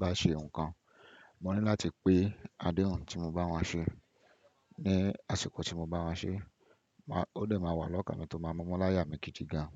bá ṣe nǹkan, mo ní láti pé adehùn tí mo bá wọ́n ṣe ní àsìkò tí mo bá wọ́n ṣe. Ó dẹ̀ máa wà lọ́kàn mi tó máa mùmú láyà mi gidi gan.